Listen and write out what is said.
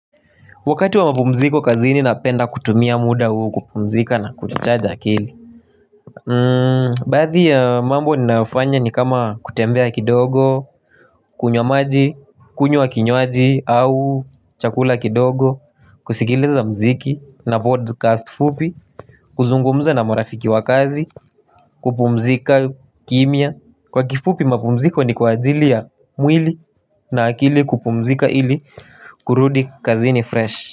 Wakati wa mapumziko kazini napenda kutumia muda huu kupumzika na ku-recharge akili. Baadhi ya mambo ninayofanya ni kama kutembea kidogo, kunywa maji, kunywa kinywaji au chakula kidogo. Kusikiliza mziki na podcast fupi, kuzungumza na marafiki wa kazi, kupumzika kimya. Kwa kifupi mapumziko ni kwa ajili ya mwili na akili kupumzika ili kurudi kazini fresh.